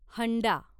हंडा